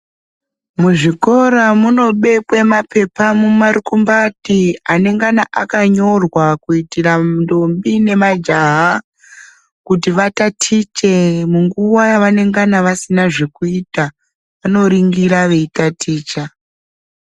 Muzvikora munobekwe maphepha mumarukumbati anengana akanyorwa kuitira ndombo nemajaha ,kuti vatatiche munguwa yavanengana vasina zvekuita, vanoringira veitaticha.